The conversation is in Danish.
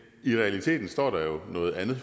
i realiteten står der jo noget andet